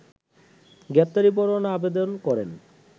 গ্রেপ্তারি পরোয়ানার আবেদন করেন